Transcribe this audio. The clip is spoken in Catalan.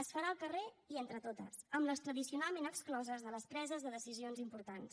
es farà al carrer i entre totes amb les tradicionalment excloses de les preses de decisions importants